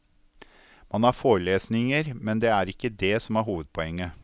Man har forelesninger, men det er ikke dét som er hovedpoenget.